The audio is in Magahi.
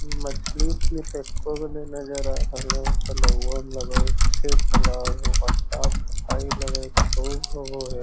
मछली-उछली तो एको गो नए नजर आ रहलो हे तलौआ मे | लगो है फेर तलवो व साफ-सफाई लग हे खूब होबो हैI